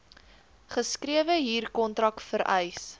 geskrewe huurkontrak vereis